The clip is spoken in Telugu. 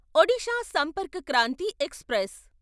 ఒడిషా సంపర్క్ క్రాంతి ఎక్స్ప్రెస్